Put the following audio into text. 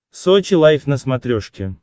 сочи лайв на смотрешке